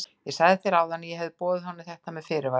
Ég sagði þér áðan að ég hefði boðið honum þetta með fyrirvara.